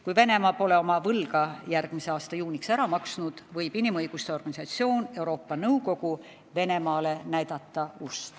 Kui Venemaa pole oma võlga järgmise aasta juuniks ära maksnud, võib inimõiguste organisatsioon Euroopa Nõukogu Venemaale ust näidata.